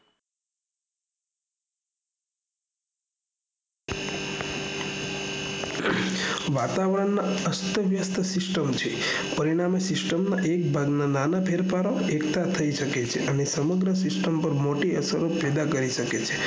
વાતાવરણ એ અસ્તવ્યસ્ત system છે પરિણામે system માં નાના ભાગના ફેરફાર દ્વારા સમુદ્ર system પાર મોટી અસર પેદા કરી શકે છે